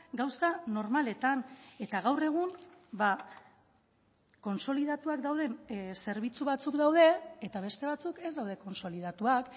gauza normaletan eta gaur egun kontsolidatuak dauden zerbitzu batzuk daude eta beste batzuk ez daude kontsolidatuak